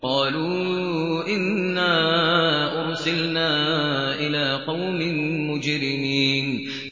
قَالُوا إِنَّا أُرْسِلْنَا إِلَىٰ قَوْمٍ مُّجْرِمِينَ